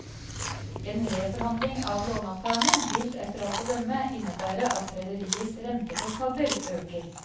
En reforhandling av låneavtalene vil etter alt å dømme innebære at rederiets rentekostnader øker.